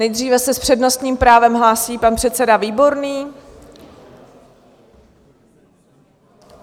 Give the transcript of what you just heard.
Nejdříve se s přednostním právem hlásí pan předseda Výborný.